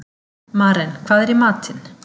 Maren, hvað er í matinn?